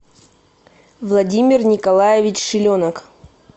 владимир николаевич шиленок